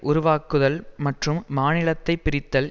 உருவாக்குதல் மற்றும் மாநிலத்தை பிரித்தல்